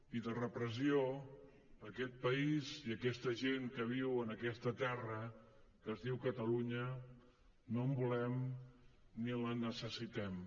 i de repressió aquest país i aquesta gent que viu en aquesta terra que es diu catalunya no en volem ni la necessitem